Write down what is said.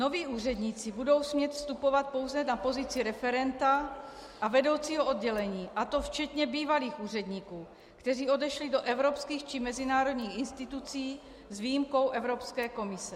Noví úředníci budou smět vstupovat pouze na pozici referenta a vedoucího oddělení, a to včetně bývalých úředníků, kteří odešli do evropských či mezinárodních institucí, s výjimkou Evropské komise.